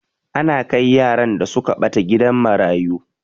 Ana kai yaran da suka ɓata gidan marayu.